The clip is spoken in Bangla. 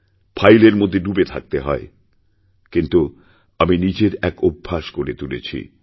ফাইলের মধ্যে ডুবে থাকতে হয়কিন্তু আমি নিজের এক অভ্যাস গড়ে তুলেছি